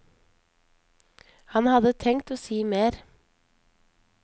Han hadde tenkt å si mer.